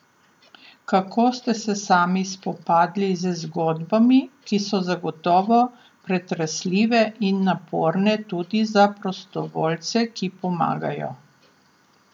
Kako ste se sami spopadli z zgodbami, ki so zagotovo pretresljive in naporne tudi za prostovoljce, ki pomagajo.